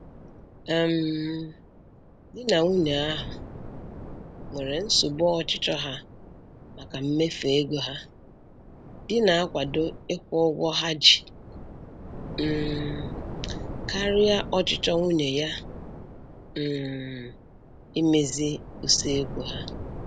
um Di na nwunye ahụ nwere nsogbu ọchịchọ ha maka mmefu ego ha, di na-akwado ịkwụ ụgwọ ha ji um karịa ọchịchọ nwunye ya um imezi usekwu ha.